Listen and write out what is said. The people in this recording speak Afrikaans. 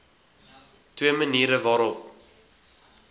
twee maniere waarop